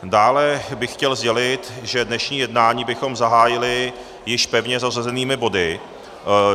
Dále bych chtěl sdělit, že dnešní jednání bychom zahájili již pevně zařazenými body.